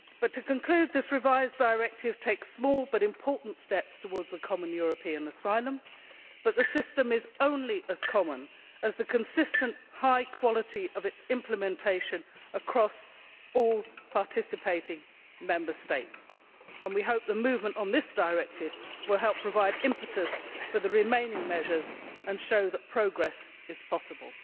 To conclude, this revised directive takes small, but important, steps towards a common European asylum policy, but the system is only as common as the consistent high quality of its implementation across all participating Member States. We hope that movement on this directive will help provide impetus for the remaining measures and show that progress is possible.